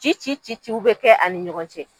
Ci ci ci ci u bɛ kɛ ani ɲɔgɔn cɛ.